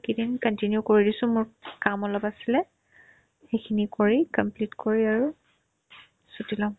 এইকেইদিন continue কৰি দিছো মোৰ কাম অলপ আছিলে সিখিনি কৰি complete কৰি আৰু ছুটি ল'ম